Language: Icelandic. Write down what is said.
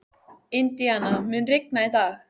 Indíana, mun rigna í dag?